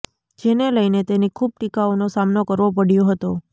જેને લઈને તેની ખૂબ ટીકાઓનો સામનો કરવો પડ્યો હતો